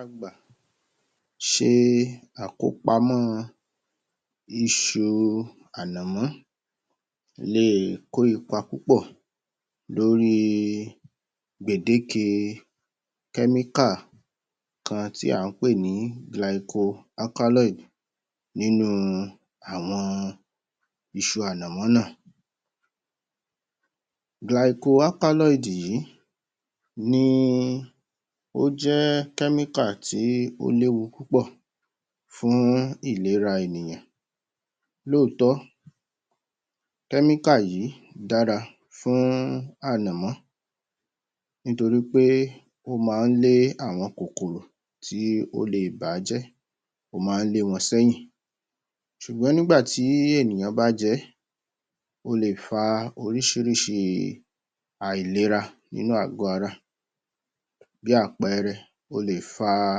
A gbà ṣe àkópamọ́ iṣu ànàmọ́ le kó ipa púpọ̀ lórí gbèdéke kẹ́míkà kan tí a ń pè ní [Glycoalkaloid] nínú àwọn iṣu ànàmọ́ náà. [Glycoalkaloid] yí ni ó jẹ́ kẹ́míkà tí ó léwu púpọ̀ fún ìlera ènìyàn. Lóòótọ́, kẹ́míkà yìí dára fún ànàmọ́ nítorí pé ó máa lé àwọn kòkòrò tí ó le bà á jẹ́ ó máa lé wọn sẹ́yìn ṣùgbọ́n nígbà tí ènìyàn bá jẹ, ó lè fà á oríṣiríṣi àìlera nínú àgọ́ ara. Bí àpẹẹrẹ, ó lè fà á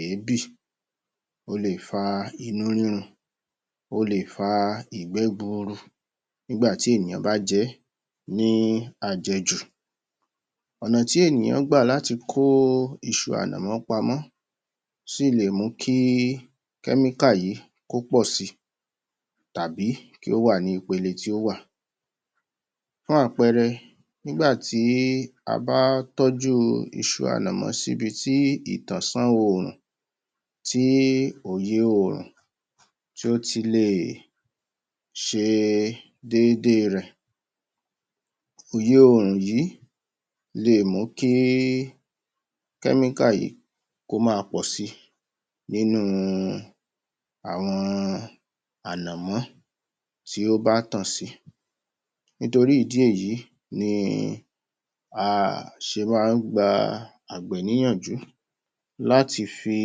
èébì, ó lè fà á inú rírun, ó lè fà á ìgbẹ́ gburu nígbà tí ènìyàn bá jẹ ní à jẹ jù. Ọ̀nà tí ènìyàn gbà láti kó iṣu ànàmọ́ pa mọ́ sí lè mú kí kẹ́míkà yìí kó pọ̀ si tàbí kí ó wà ní ipele tí ó wà. Fún àpẹẹrẹ, nígbà tí a bá tọ́jú iṣu ànàmọ́ sí ibi tí ìtànṣán oòrùn tí òye oòrùn ti ó ti lè sẹ déédé rẹ̀. Iyọ oòrùn yìí lè mú kí í kẹ́míkà yìí kó máa pọ̀ si nínú àwọn ànàmọ́ tí ó bá tan si. Nítorí ìdí èyí ni a ṣe máa ń gba Àgbẹ̀ ní yànjú láti fi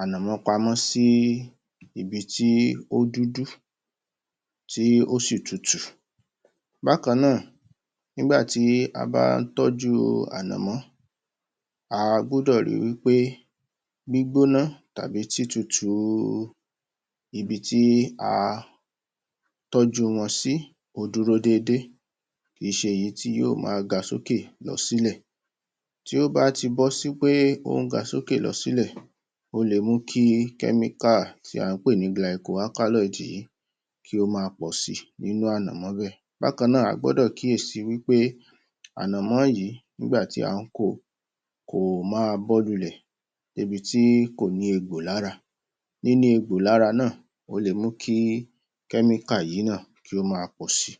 ànàmọ́ pa mọ́ sí ibi tí ó dúdú, tí ó sì tutù. Bákan náà, nígbà tí a bá ń tọ́jú ànàmọ́, a gbọ́dọ̀ ri wí pé gbígbọ́ná tàbí títutù ibi tí a tọ́jú wọn sí o dúró déédé, kì í ṣe èyí tí yóò máa ga sókè lọ sílẹ̀. Tí o bá ti bọ́ sí wí pé o ń ga sókè ga sílẹ̀, ó lè mú kí kẹ́míkà tí a ń pè ní Glycoalkaloid yí kí ó máa pọ̀ si nínú ànàmọ́ bẹ́ẹ̀. Bákan náà, a gbọ́dọ̀ kíyè sí wí pé ànàmọ́ yìí nígbà tí a ń ko, kò má bọ́ lulẹ̀ dé ibi tí kó ní egbò lára níní egbò lára náà ó le mú kí kẹ́míkà yìí náà kí o máa pọ̀ si.